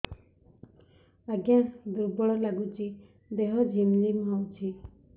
ଆଜ୍ଞା ଦୁର୍ବଳ ଲାଗୁଚି ଦେହ ଝିମଝିମ ହଉଛି